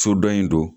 So dɔ in don